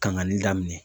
Kangari daminɛ